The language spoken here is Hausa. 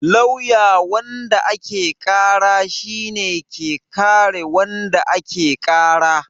Lawyer wanda ake ƙara shi ne ke kare wanda ake ƙara